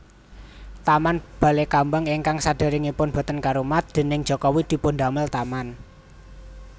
Taman Balekambang ingkang saderengipun boten karumat déning Jokowi dipundamel taman